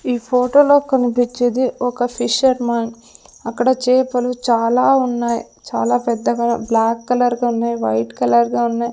ఈ ఫోటో లో కనిపించేది ఒక ఫిషర్ మార్ట్ అక్కడ చేపలు చాలా ఉన్నాయి చాలా పెద్దగా బ్లాక్ కలర్ గున్నాయి వైట్ కలర్ గా ఉన్నాయి.